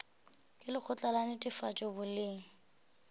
ke lekgotla la netefatšo boleng